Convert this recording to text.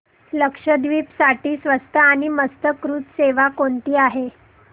लक्षद्वीप साठी स्वस्त आणि मस्त क्रुझ सेवा कोणती आहे